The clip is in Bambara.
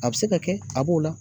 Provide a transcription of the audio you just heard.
A be se ka kɛ, a b'o la.